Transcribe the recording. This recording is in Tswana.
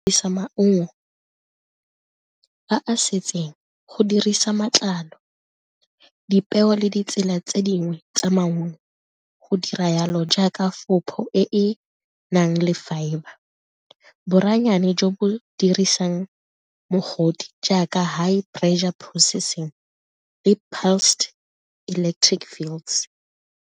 Le sa maungo a a setseng, go dirisa matlalo, dipeo le ditsela tse dingwe tsa maungo go dira jalo jaaka e e nang le fibre jo bo dirisang mogodi jaaka high pressure processing le .